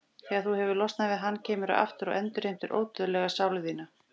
Þegar þú hefur losnað við hann kemurðu aftur og endurheimtir ódauðlega sál þína.